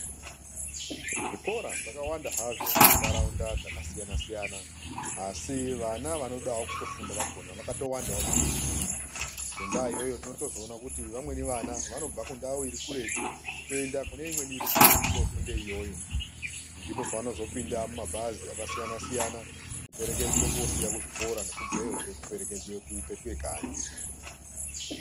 Zvikora zvakawanda hazvo muntaraunda dzakasiyana siyana, Asi vana vanodawo kufunda vakona vakatowanda maningi. Ngendaa iyoyo tinotozoona kuti vamweni vana vanobva kundau iri kuretu kuende kune imweni iri kuretu kofunda iyoyo. Ndopavanozopinda mumabhazi akasiyana siyana koperekedzwe kosiiwe kuzvikoro nekubveyozve kuperekedzwe kupetuke kanyi.